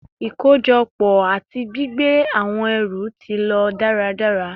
Ikojọpọ ati gbigbe awọn ẹru ti lo daradara